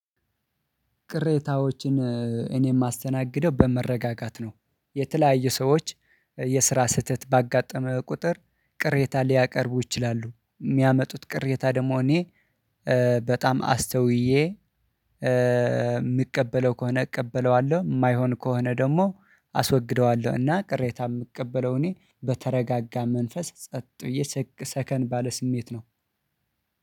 ቅሬታዎችን እኔ የማስተናግደው በመረጋጋት ነው የተለያዩ ሰዎች የስራ ስህተት ባጋጠመ ቁጥር ቅሬታ ሊያቀርቡ ይችላሉ። የሚያመጡት ቅሬታ ደግሞ እኔ በጣም አስተውዬ የምቀበለው ከሆነ እቀበለዋለሁ የማይሆን ከሆነ ደግሞ አስወግደዋለሁ እና ቅሬታ የምቀበለው እኔ በተረጋጋ መንፈስ ጸጥ ብዬ ሰከን ባለ ስሜት ነው።